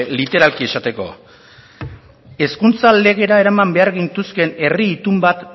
literalki esateko hezkuntza legera eraman behar gintuzken herri itun bat